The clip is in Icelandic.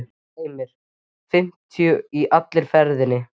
Heimir: Fimmtíu í allri ferðinni?